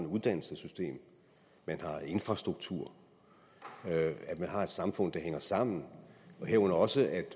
uddannelsessystem at man har en infrastruktur at man har et samfund der hænger sammen herunder også at